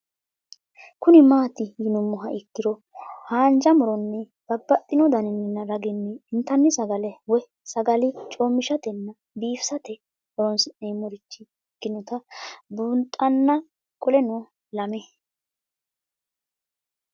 Kuni mati yinumoha ikiro hanja muroni babaxino daninina ragini intani sagale woyi sagali comishatenna bifisate horonsine'morich ikinota bunxana qoleno lame